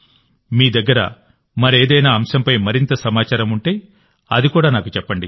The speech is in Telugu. మీ దగ్గర మరేదైనా అంశంపై మరింత సమాచారం ఉంటే అది కూడా నాకు చెప్పండి